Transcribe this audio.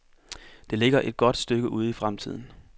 Det ligger et godt stykke ude i fremtiden.